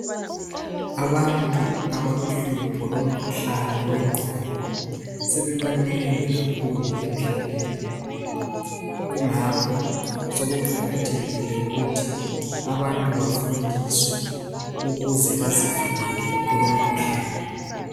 Abantu abalohlupho lomkhuhlane wengqondo sebanengi kakhulu emhlabeni kungakho sokuqakathekile ukuthi abantu bafundiswe ukuze bazivikele kulo mkhuhlane